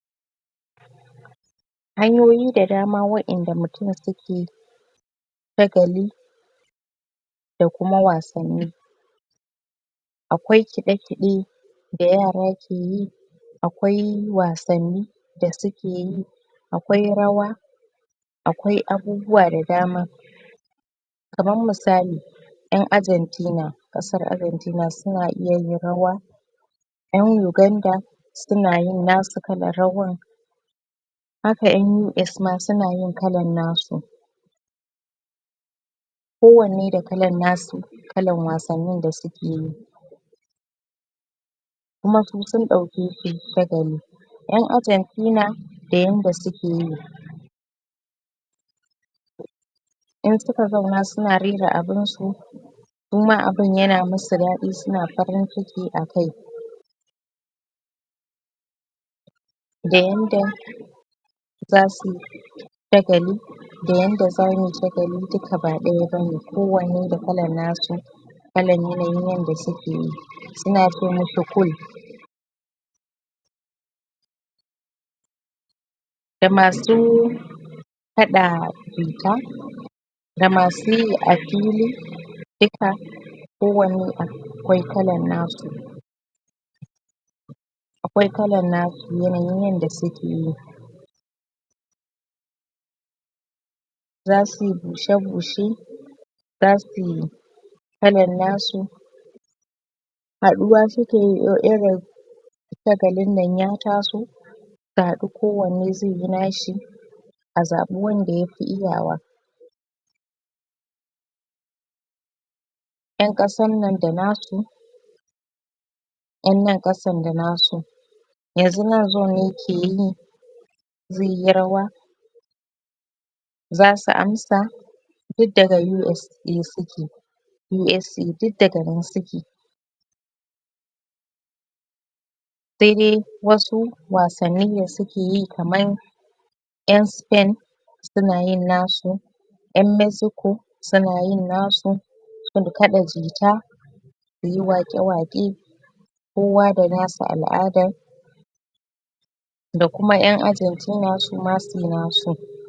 hanyoyi da dama wa'enda mutun suke shagali da kuma wasanni akwai kiɗakiɗe da yara ke yi akwai wasanni da sukeyi akwai rawa akwai abubuwa da dama kaman misali en Argentina ƙasar Argentina suna iya yin rawa en uganda suna yin nasu kallar rawan haka en US ma suna yin kallar nasu kowannae da kallan nasu kallan wasanni da suke yi kuma su sun dauke shi shagali en Argentina da yanda suke yi in suka zauna suna rera abun su kuma abun yana musu daɗi suna farin ciki a kai da yanda za suyi shagali da yanda zamuyi shagali duka ba daya bane kowanne da kallan nasu kallan yanayin yanda sukeyi suna ce mishi da masu kaɗa jita da masu yi a fili dukka kowanne akwai kalan nasu akwai kallan nasu yanayin yanda sukeyi zasuyi gusha gushe za suyi kallan nasu haduwa sukeyi irin in shagalin nan ya taso zasu haɗu kowanne zai yi nashi a zaba wanda yafi iya wa en kasan nan da nasu en nan kasan da nasu yanzu nan zone ne yake yi zaiyi rawa zasu amsa duk daga US ne suke USA duk daga nan suke sai dai wasu wasanni da sukeyi kaman en spain suna yin nasu en Mexico suna yin nasu sun kaɗa jita suyi waƙe waƙe kowa da nasa al'adan da kuma en Argentina suma suyi nasu.